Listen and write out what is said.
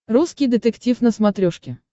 русский детектив на смотрешке